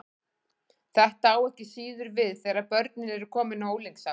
Þetta á ekki síður við þegar börnin eru komin á unglingsárin.